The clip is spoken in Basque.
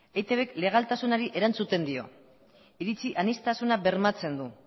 etb k legaltasunari erantzuten dio iritzi aniztasuna bermatzen du